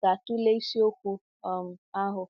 ga-atụle isiokwu um ahụ.